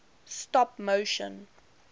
stop motion